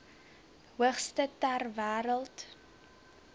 hoogste ter wêreld